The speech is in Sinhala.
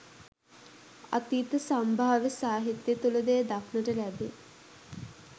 අතීත සම්භාව්‍ය සාහිත්‍ය තුළද එය දක්නට ලැබේ.